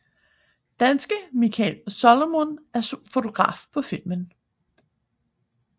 Danske Mikael Salomon er fotograf på filmen